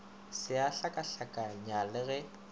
se a hlakahlakanya le ge